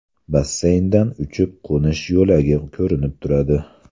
Basseyndan uchib-qo‘nish yo‘lagi ko‘rinib turadi.